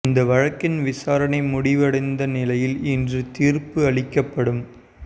இந்த வழக்கின் விசாரணை முடிவடைந்த நிலையில் இன்று தீர்ப்பு அளிக்கப்பட்டது